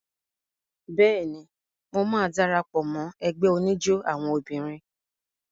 Bẹ́ẹ̀ni, mo máa dara pọ̀ mọ́ ẹgbẹ́ oníjó àwọn obìnrin.